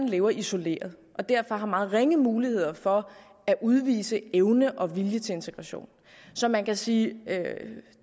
lever isoleret og derfor har meget ringe muligheder for at udvise evne og vilje til integration så man kan sige at